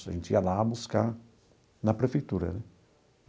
A gente ia lá buscar na prefeitura né.